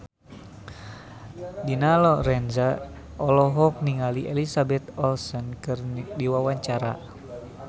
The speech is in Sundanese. Dina Lorenza olohok ningali Elizabeth Olsen keur diwawancara